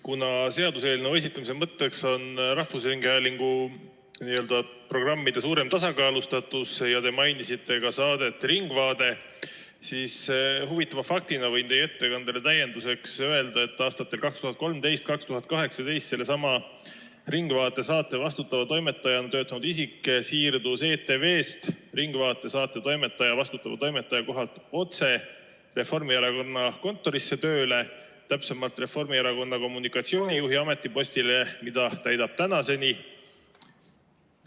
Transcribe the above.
Kuna selle seaduseelnõu esitamise mõtteks on rahvusringhäälingu programmide suurem tasakaalustatus ja te mainisite ka saadet "Ringvaade", siis huvitava faktina võin teie ettekandele täienduseks öelda, et aastatel 2013–2018 sellesama "Ringvaate" saate vastutava toimetajana töötanud isik siirdus ETV-st "Ringvaate" saate vastutava toimetaja kohalt tööle otse Reformierakonna kontorisse, täpsemalt Reformierakonna kommunikatsioonijuhi ametipostile, mida täidab tänaseni.